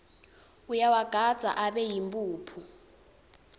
uyawagandza abe yimphuphu